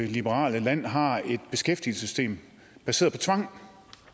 liberale land har et beskæftigelsessystem baseret på tvang